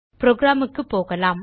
program க்குப் போகலாம்